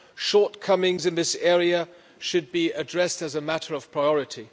Shortcomings in this area should be addressed as a matter of priority.